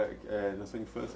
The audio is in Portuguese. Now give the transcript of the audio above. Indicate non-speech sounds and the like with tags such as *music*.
*unintelligible* na sua infância?